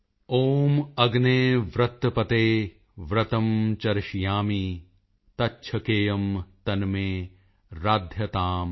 ਓਮ ਅਗਨੇ ਵ੍ਰਤਪਤੇ ਵ੍ਰਤੰ ਚਰਿਸ਼ਯਾਮਿ ਤੱਛੇਕੇਯਮ ਤਨਮੇ ਰਾਧਯਤਾਮ